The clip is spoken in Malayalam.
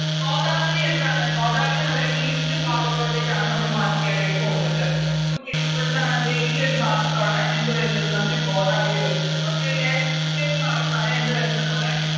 ഗോദാവരി എന്താണ് ഗോദാവരി നമ്മുടെ East ഭാഗത്തോട്ടേക്കാണ് നമ്മള് Mark ചെയ്യാനായിട്ട് പോകുന്നത് Okay അപ്പൊ എന്താണത് ഈയൊരു ഭാഗത്താണ് എന്ത് വരുന്നത് നമ്മടെ ഗോദാവരി വരുന്നത് Okay അല്ലെ ഈയൊരു ഭാഗത്താണ് എന്ത് വരുന്നത് നമ്മടെ